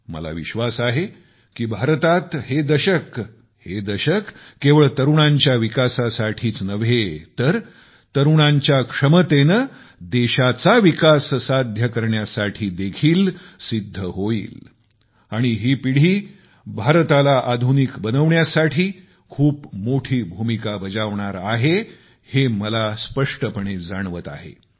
मला विश्वास आहे की भारतात हे दशक हे दशक केवळ तरुणांच्या विकासासाठीच नव्हे तर तरूणांच्या क्षमतेने देशाचा विकास साध्य करण्याचे देखील सिद्ध होईल आणि ही पिढी भारताच्या आधुनिकतेत खूप मोठी भूमिका बजावणार आहे हे मला स्पष्टपणे जाणवत आहे